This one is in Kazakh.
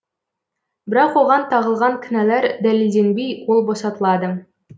бірақ оған тағылған кінәлар дәлелденбей ол босатылады